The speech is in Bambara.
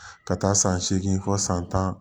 Ka taa san seegin fɔ san tan